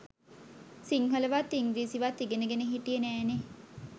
සිංහලවත් ඉංග්‍රීසිවත් ඉගෙනගෙන හිටියෙ නෑනෙ?